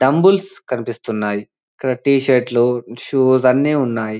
Dumbbell కన్పిస్తున్నాయి ఇక్కడ t shirt లూ షూస్ అని ఉన్నాయ్.